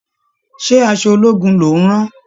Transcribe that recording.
Ṣé aṣọ ológun ló ń rán?